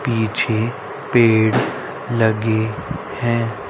पीछे पेड़ लगे है।